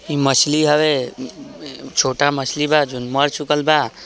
इ मच्छली हवे छोटा मच्छली बा जोन मर चुकल बा।